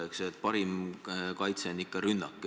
Eks parim kaitse on ikka rünnak.